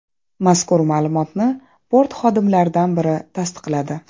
Mazkur ma’lumotni port xodimlaridan biri tasdiqladi.